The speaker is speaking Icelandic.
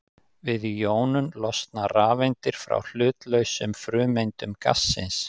Við jónun losna rafeindir frá hlutlausum frumeindum gassins.